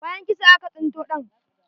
Bayan kisa, aka sinto ɗan.